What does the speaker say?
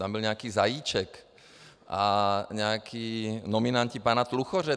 Tam byl nějaký Zajíček a nějací nominanti pana Tluchoře.